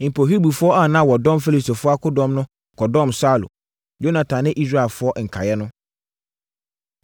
Mpo, Hebrifoɔ a na wɔdɔm Filistifoɔ akodɔm no kɔdɔm Saulo, Yonatan ne Israelfoɔ nkaeɛ no.